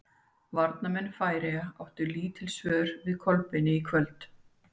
Varnarmenn Færeyja áttu lítil svör við Kolbeini í kvöld.